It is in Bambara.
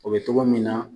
O bɛ togo min na